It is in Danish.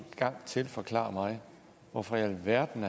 gang til forklare mig hvorfor i alverden